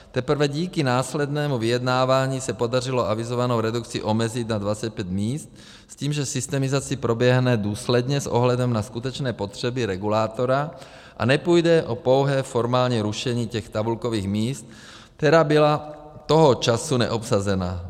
Teprve díky následnému vyjednávání se podařilo avizovanou redukci omezit na 25 míst s tím, že systemizace proběhne důsledně s ohledem na skutečné potřeby regulátora a nepůjde o pouhé formální rušení těch tabulkových míst, která byla toho času neobsazena.